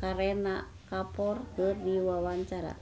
Kareena Kapoor keur diwawancara